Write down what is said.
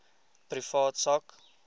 privaat sak